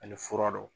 Ani fura dɔ